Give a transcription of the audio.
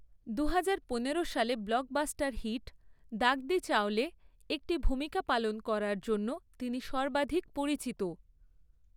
দুহাজার পনেরো সালে ব্লকবাস্টার হিট 'দাগদি চাওলে' একটি ভূমিকা পালন করার জন্য তিনি সর্বাধিক পরিচিত।